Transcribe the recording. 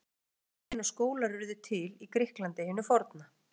Ekki er vitað nákvæmlega hvenær skólar urðu til í Grikklandi hinu forna.